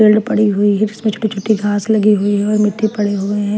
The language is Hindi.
फील्ड पड़ी हुई है जिसमें छोटी-छोटी घास लगी हुई है और मिट्टी पड़ी हुई है .